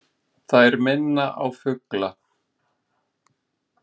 Þær minna á fugla.